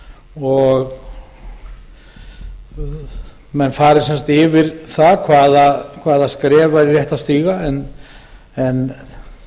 og menn fari sem sagt yfir það hvaða skref væri rétt að stíga en